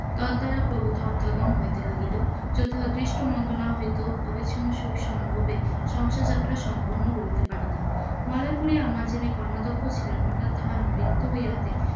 তদ দ্বারা প্রভুত অর্থাগম হইতে লাগিল যদি অদৃষ্ট মন্দ না হইত অবিছিন্ন সুখ সম্ভোগে সংসার জাত্রা সম্পন্ন করিতে পারিতাম, মলয়পুরে আমার যিনি কর্মাধ্যক্ষ ছিলেন তাহার মৃত্যু হইয়াতে,